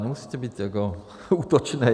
Nemusíte být jako útočný.